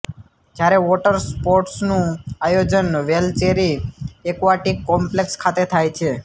જ્યારે વોટર સ્પોર્ટસનું આયોજન વેલચેરી એક્વાટીક કોમ્પલેક્ષ ખાતે થાય છે